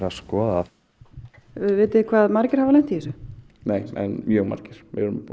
að skoða vitið þið hvað margir hafa lent í þessu nei en mjög margir